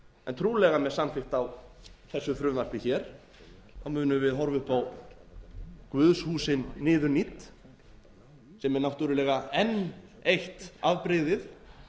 en trúlega með samþykkt á þessu frumvarpi hér munum við horfa upp á guðshúsin niðurnídd sem er náttúrlega enn eitt afbrigði